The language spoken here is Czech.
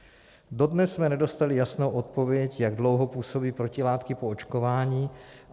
Dodnes jsme nedostali jasnou odpověď, jak dlouho působí protilátky po očkování.